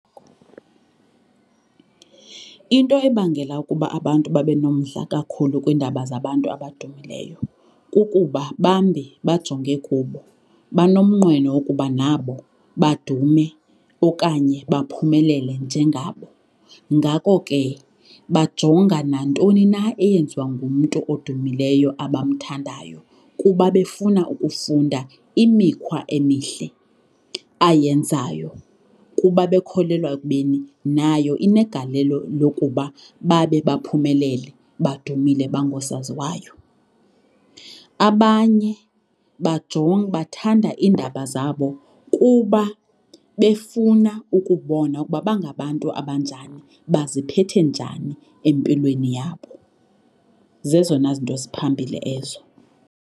Into ebangela ukuba abantu babe nomdla kakhulu kwiindaba zabantu abadumileyo kukuba bambi bajonge kubo, banomnqweno wokuba nabo badume okanye baphumelele njengabo. Ngako ke bajonga nantoni na eyenziwa ngumntu odumileyo abamthandayo kuba befuna ukufunda imikhwa emihle ayenzayo kuba bekholelwa ekubeni nayo inegalelo lokuba babe baphumelele badumile bangosaziwayo. Abanye bathanda iindaba zabo kuba befuna ukubona ukuba bangabantu abanjani, baziphathe njani empilweni yabo, zezona zinto ziphambili ezo.